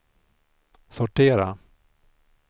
sortera